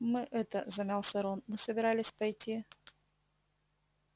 мы это замялся рон мы собирались пойти